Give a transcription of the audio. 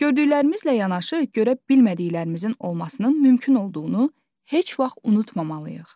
Gördüklərimizlə yanaşı görə bilmədiklərimizin olmasının mümkün olduğunu heç vaxt unutmamalıyıq.